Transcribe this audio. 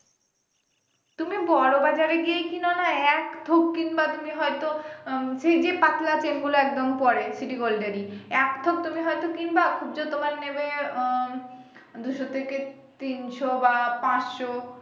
তুমি বড় বাজারেই গিয়েই কিননা এক থুপ কিনবা তুমি হয়তো আহ সেই যে পাতলা chain গুলো একদম পরে city gold এর এক থুপ তুমি হয়তো কিনবা খুব জোর তোমার নেবে আ দুশো থেকে তিনশো বা পাঁচশো